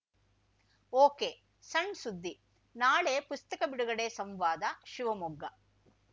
ಒಕೆಸಣ್‌ಸುದ್ದಿನಾಳೆ ಪುಸ್ತಕ ಬಿಡುಗಡೆಸಂವಾದ ಶಿವಮೊಗ್ಗ